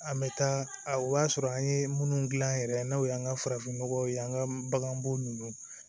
An bɛ taa o b'a sɔrɔ an ye minnu dilan yɛrɛ n'o y'an ka farafinnɔgɔw ye an ka baganbo nunnu